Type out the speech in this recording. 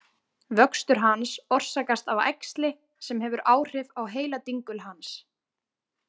Vöxtur hans orsakast af æxli sem hefur áhrif á heiladingul hans.